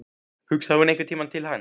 Hugsaði hún einhvern tímann til hans?